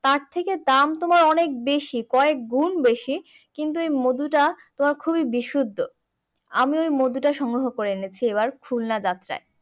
তার থেকে দাম তোমার অনেক বেশি কয়েক গুন বেশি কিন্তু ওই মধুটা তোমার খুবই বিশুদ্ধ আমি ওই মধুটা সংগ্রহ করে এনেছি এবারের খুলনা যাত্রায়